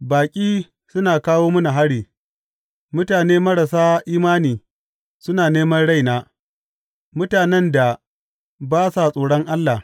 Baƙi suna kawo mini hari; mutane marasa imani suna neman raina, mutanen da ba sa tsoron Allah.